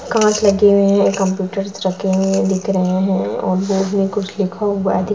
कांच लगे हुए हैं कम्प्यूटर्स रखे हुए दिख रहे हैं और वो भी कुछ लिखा हुआ दिख --